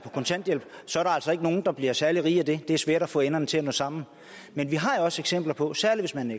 nogen der bliver særlig rige af den det er svært at få enderne til at nå sammen men vi har jo også eksempler på særlig hvis man